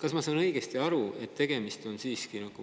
Kas ma saan õigesti aru, et tegemist on